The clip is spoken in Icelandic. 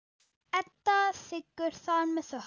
Edda þiggur það með þökkum.